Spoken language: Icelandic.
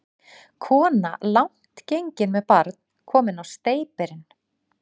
Kona langt gengin með barn, komin á steypirinn.